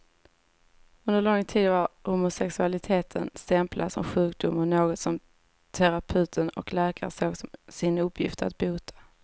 Under lång tid var homosexualiteten stämplad som sjukdom och något som terapeuten och läkaren såg som sin uppgift att bota.